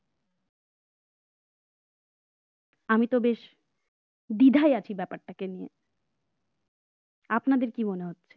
আমি তো বেশ বিধায় আছি ব্যাপারটাকে নিয়ে আপনাদের কি মনে হচ্ছে?